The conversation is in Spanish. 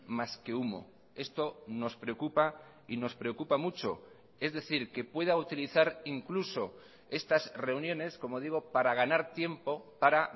más que humo esto nos preocupa y nos preocupa mucho es decir que pueda utilizar incluso estas reuniones como digo para ganar tiempo para